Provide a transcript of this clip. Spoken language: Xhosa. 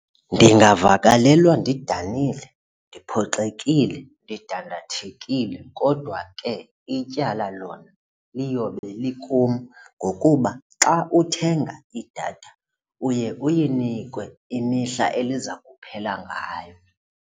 Ndingavakalelwa ndidanile, ndiphoxekile, ndidandathekile kodwa ke ityala lona liyobe likum ngokuba xa uthenga idatha uye uyinikwe imihla eliza kuphela ngayo.